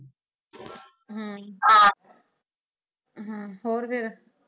ਹਮ ਹਮ ਹੋਰ ਫਿਰ